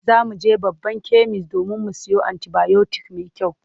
Za mu je babban kemis domin mu siyo anti-bayotik mai kyau.